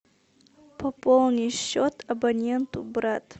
пополни счет абоненту брат